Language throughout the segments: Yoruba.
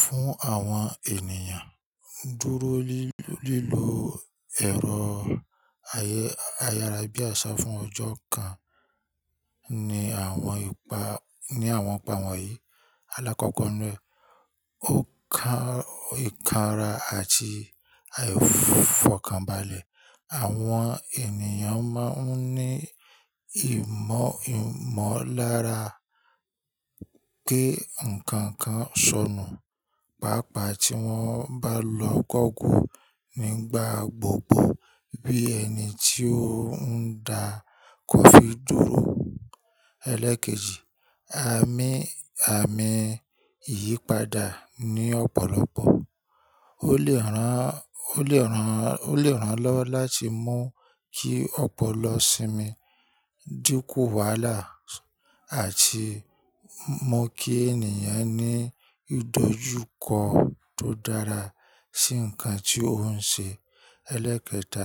Fún àwọn ènìyàn dúró lílo ẹ̀rọ ayárabíàṣá fún ọjọ́ kan ní àwọn ìpàwọ̀ yìí. Alákọ̀ọ́kọ́ nu ẹ, ó kan ikanra àti àìfọkànbalẹ̀. Àwọn ènìyàn máa ń ní ìmọ̀lára pé nǹkan kan sọnù, pàápàá tí wọ́n bá lọ google nígbà gbogbo bí ẹni tí ó ń da kọfí dúró. Eléèkejì, àmì àmì ìyípadà ní ọ̀pọ̀lọpọ̀ ole ran Ó lè ràn lọ́wọ́ láti mú kí ọ̀pọ̀ lọ sínmi, dínkù wàhálà àti mú kí ènìyàn ní ìdójúkọ tó dára sí nǹkan tí ó ń ṣe. Ẹlẹ́ẹ̀kẹta,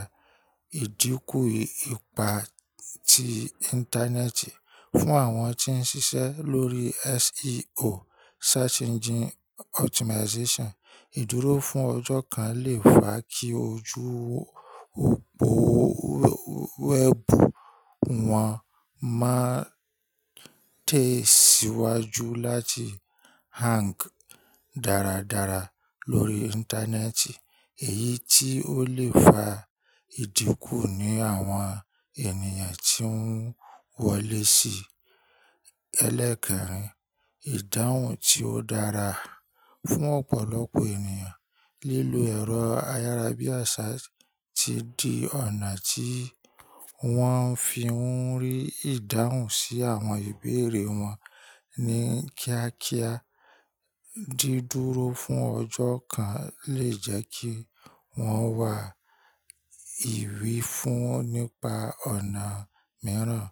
ìdínkù ipa ti Íńtánẹ́ẹ̀tì fún àwọn tí ń ṣiṣẹ́ lórí SEO search engine optimization Ìdúró fún ọjọ́ kan lè fà á kí ojúbọ wẹ́ẹ̀bù wọn máa tẹ̀síwájú láti Hang dáradára lórí Íńtánẹ́ẹ̀tì èyí tí ó lè fa ìdínkù ní àwọn ènìyàn tí ń wọlé sí i. Ẹlẹ́kẹ̀rin, ìdáhùn tí ó dára. Fún ọ̀pọ̀lọpọ̀ ènìyàn, lílo ẹ̀rọ ayárabíàṣá ti di ọ̀nà tí wọ́n fi ń rí ìdáhùn sí àwọn ìbéèrè wọn ní kíákíá. Dídúró fún ọjọ́ kan lè jẹ́ kí wọ́n wá ìwí fún nípa ọ̀nà mìíràn.